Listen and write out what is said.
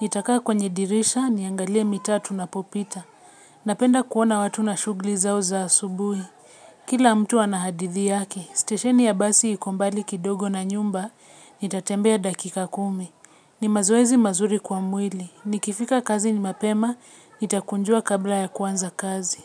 Nitakaa kwenye dirisha niangalie mitaa tunapopita. Napenda kuona watu na shugli zao za asubuhi. Kila mtu ana hadithi yake stesheni ya basi iko mbali kidogo na nyumba nitatembea dakika kumi. Ni mazoezi mazuri kwa mwili. Nikifika kazi ni mapema nitakunjua kabla ya kuanza kazi.